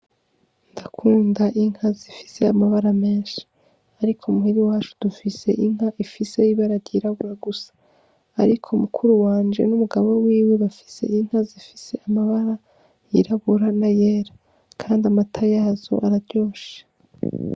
Ndakunda inka zifise amabara menshi ariko muhira iwacu dufise inka ifise ibara ryirabura gusa, ariko mukuru wanje n'umugabo wiwe bafise inka zifise amabara yirabura n'ayera kandi amata yazo araryoshe.